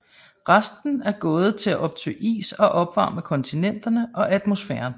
Resten er gået til at optø is og opvarme kontinenterne og atmosfæren